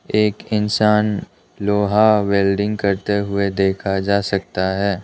एक इंसान लोहा वेल्डिंग करते हुए देखा जा सकता है।